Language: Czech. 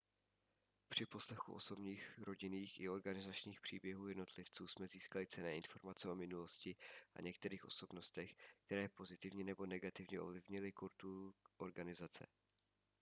při poslechu osobních rodinných i organizačních příběhů jednotlivců jsme získali cenné informace o minulosti a některých osobnostech které pozitivně nebo negativně ovlivnily kulturu organizace